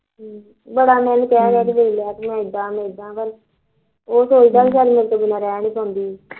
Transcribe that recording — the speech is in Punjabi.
ਬੜਾ ਮੈਂ ਉਹਨੂੰ ਕਹਿ ਕਹਿ ਕੇ ਦੇਖ ਲਿਆ ਮੈ ਇਦਾ ਮੈ ਇਦਾ ਉਹ ਸੋਚਦਾ ਕਿ ਮੇਰੇ ਤੋਂ ਬਿਨਾਂ ਰਹਿ ਨਹੀਂ ਸਕਦੀ